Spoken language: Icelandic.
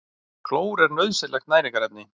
Klór er nauðsynlegt næringarefni.